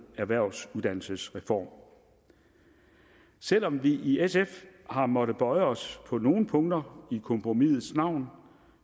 erhvervsuddannelsesreform selv om vi i sf har måttet bøje os på nogle punkter i kompromisets navn